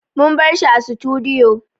Mun bar shi a sutudiyo